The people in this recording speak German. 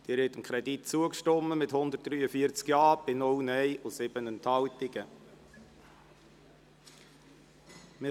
Sie haben dem Kredit mit 143 Ja- zu 0 Nein-Stimmen und 7 Enthaltungen zugestimmt.